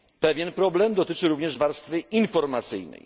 Pewien problem dotyczy również warstwy informacyjnej.